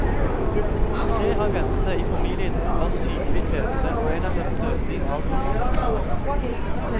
Tre av jentene i familien var sykelig fete og en av dem døde i en alder av nitten år.